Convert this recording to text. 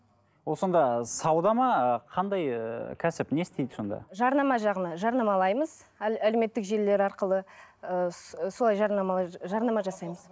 ол сонда сауда ма ы қандай ыыы кәсіп не істейді сонда жарнама жағынан жарнамалаймыз әлеуметтік желілер арқылы ы солай жарнамалай жарнама жасаймыз